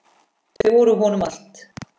Þau voru honum allt.